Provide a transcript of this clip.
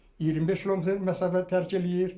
25 km məsafə tərk eləyir.